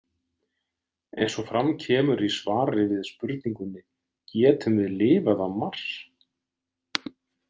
Eins og fram kemur í svari við spurningunni Getum við lifað á Mars?